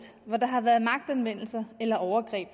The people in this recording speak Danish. hvor der har været magtanvendelse eller overgreb